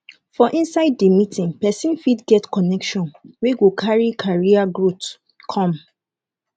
for inside di meeting persin fit get connection wey go carry career growth come